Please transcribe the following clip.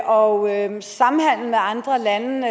og samhandel med andre lande vil